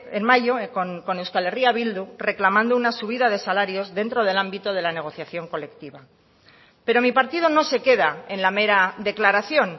en mayo con euskal herria bildu reclamando una subida de salarios dentro del ámbito de la negociación colectiva pero mi partido no se queda en la mera declaración